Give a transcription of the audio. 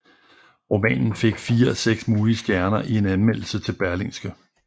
Romanen fik fire af seks mulige stjerner i en anmeldelse i Berlingske